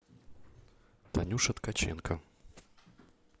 танюша ткаченко